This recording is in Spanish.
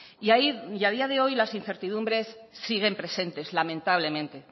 y a día de hoy las incertidumbres siguen presentes lamentablemente